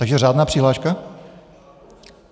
Takže řádná přihláška?